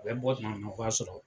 U bɛ bɔ tuma min na ka b'a sɔrɔ.